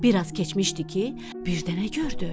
Bir az keçmişdi ki, birdənə gördü.